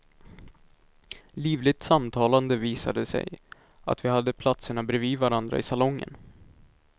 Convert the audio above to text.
Livligt samtalande visade sig, att vi hade platserna brevid varandra i salongen.